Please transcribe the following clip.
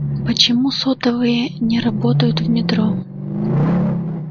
ну почему сотовые не работают в метро